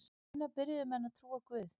Hvenær byrjuðu menn að trúa á guð?